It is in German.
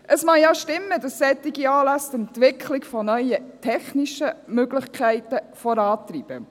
Es mag ja stimmen, dass solche Anlässe die Entwicklung von neuen technischen Möglichkeiten vorantreiben.